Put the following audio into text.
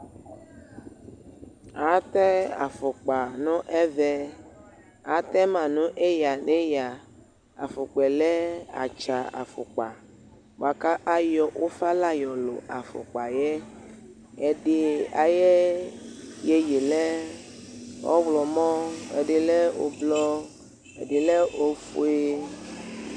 Atɛ afukpa nʋ ɛvɛ Atɛma nʋ eyǝ nʋ eyǝ Afukpa yɛ lɛ atsa afukpa bʋakʋ ayɔ ufa la yɔ lʋ afukpa yɛ Ɛdɩ ayʋ iyeye yɛ lɛ ɔɣlɔmɔ, ɛdɩ lɛ ʋblɔ, ɛdɩ lɛ ofue